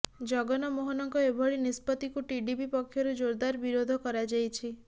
ଜଗନ ମୋହନଙ୍କ ଏଭଳି ନିଷ୍ପତ୍ତିକୁ ଟିଡିପି ପକ୍ଷରୁ ଜୋରଦାର ବିରୋଧ କରାଯାଇଛି